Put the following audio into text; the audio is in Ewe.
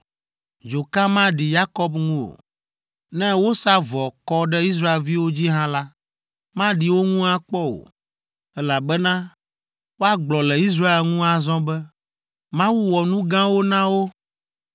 dzoka maɖi Yakob ŋu o. Ne wosa vɔ kɔ ɖe Israelviwo dzi hã la, maɖi wo ŋu akpɔ o, elabena woagblɔ le Israel ŋu azɔ be, ‘Mawu wɔ nu gãwo na wo!